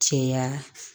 Cɛya